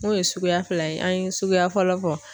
N'o ye suguya fila ye an ye suguya fɔlɔ fɔ